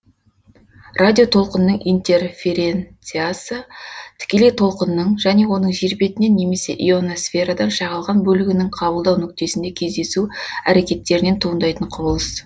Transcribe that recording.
радиотолқынның интерференциясы тікелей толқынның және оның жер бетінен немесе ионосферадан шағылған бөлігінің қабылдау нүктесінде кездесу әрекеттерінен туындайтын құбылыс